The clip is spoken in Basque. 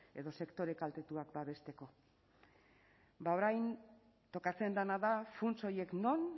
edo sektore kaltetuak babesteko bada orain tokatzen dena da funts horiek non